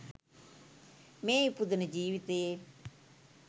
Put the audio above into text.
මේ ඉපදුණ ජීවිතයේ